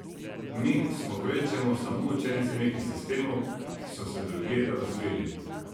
Mi smo kvečjemu samo učenci nekih sistemov, ki so se drugje razvili.